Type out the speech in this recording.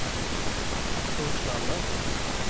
Torslanda